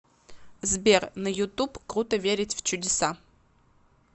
сбер на ютуб круто верить в чудеса